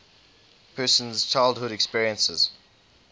person's childhood experiences